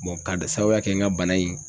ka sababuya kɛ n ka bana in